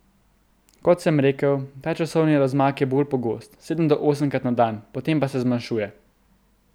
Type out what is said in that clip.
Kot sem rekel, ta časovni razmak je bolj pogost, sedem do osemkrat na dan, potem se pa zmanjšuje.